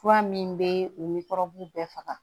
Fura min bɛ u ni kɔrɔbugu bɛɛ faga